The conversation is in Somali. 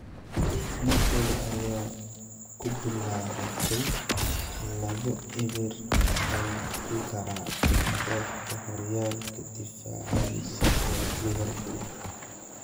Napoli ayaa ku bilaabatay labo-eber ay ku garaacday kooxda horyaalka difaacaneysa ee Liverpool.